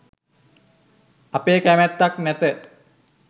අපේ කැමැත්තක් නැත.